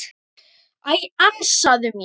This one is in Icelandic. Æ, ansaðu mér.